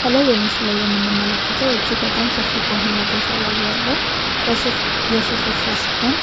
ከላይ በምስል ላይ የምንመለከተው እጅግ በጣም ሰፊ በሆነ ቦታ ላይ ያለ የሱፍ እርሻ ሲሆን